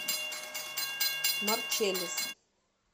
марчеллис